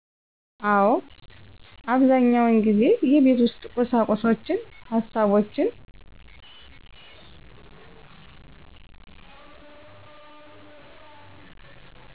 አወ። አብዛኛውን ጊዜ የቤት ውስጥ ቁሳቁሶችን፣ ሀሳቦችን